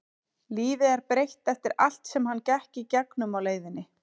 Lífið er breytt eftir allt sem hann gekk í gegnum á leiðinni.